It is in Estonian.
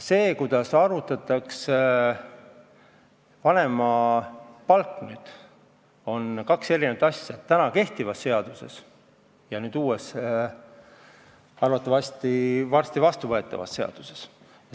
See, kuidas arvutatakse vanemapalka kehtivas seaduses, ja see, kuidas arvutatakse nüüd uues, arvatavasti varsti vastuvõetavas seaduses, on kaks eri asja.